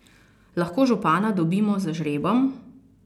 Lahko župana dobimo z žrebom?